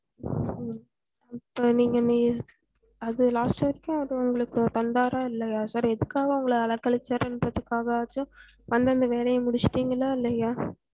உம் இப்ப நீங்க அது last வரைக்கும் அது உங்களுக்கு தந்தாரா இல்லையா sir எதுக்காக உங்கள அலைகளைச்சாறுன்றதுக்காகவாச்சும் வந்து அந்த வேலைய முடிச்சிட்டீங்களா இல்லையா